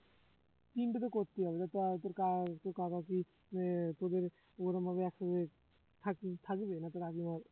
তিনটে তো করতেই হবে তাহলে তো আর তোর কা তোর কাকা কি মানে তোদের ওরকম ভাবে accurate থাক~ থাকবে না তার আগে আবার